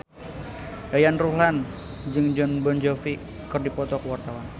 Yayan Ruhlan jeung Jon Bon Jovi keur dipoto ku wartawan